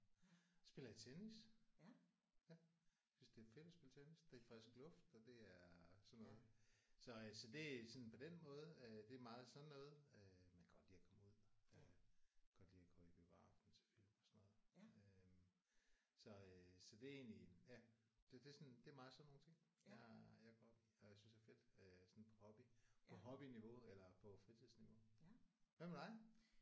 Spiller jeg tennis. Jeg synes det er fedt at spille tennis. Det er frisk luft og det er sådan noget så øh så det sådan på den måde øh det er meget sådan noget øh men kan godt lide at komme ud. Øh kan godt lide at gå i biografen og se film og sådan noget øh så øh så det er egentlig ja det det sådan det er meget sådan nogle ting jeg jeg går op i og jeg synes er fedt øh sådan på hobby på hobbyniveau eller på fritidsniveau. Hvad med dig?